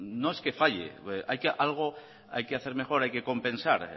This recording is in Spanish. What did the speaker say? que falle algo hay que hacer mejor hay que compensar